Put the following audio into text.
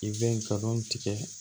I bɛ kalon tigɛ